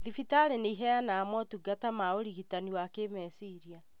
Thibitarĩ nĩiheanaga motungata ma ũrigitani wa kĩmeciria